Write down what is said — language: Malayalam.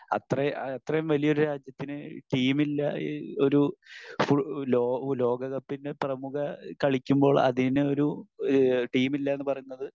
അപ്പൊ അത്രേം അത്രേം വലിയൊരു രാജ്യത്തിന് ടീമില്ല, ഒരു ഫുൾ ലോ ലോകകപ്പിന് പ്രമുഖ കളിക്കുമ്പോൾ അതിനൊരു ഈഹ് ടീമില്ല എന്ന് പറയുന്നത്